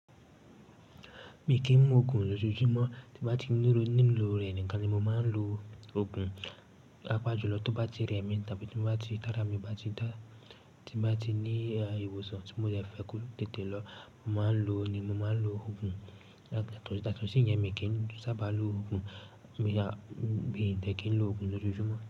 Mi kì ń mu òògùn lojoojumo tí mo bá ti níro– ní lò rẹ̀ nìkan ni mo máa ń lo òògùn pàápàá jùlọ tó bá ti rẹ mi tàbí tí mo bá ti tára mi ò bá dá, ti n ba ti ní eh, ìwòsàn tí mo dẹ̀ fẹ́ kí ó tètè lọ, mo máa ń lo ni mo máa ń lo òògùn. Yàtọ̀ sí ìyẹn mi kì ń sábà lo òògùn, so yeah, mi dẹ̀ kí n lo òògùn lójoojúmó.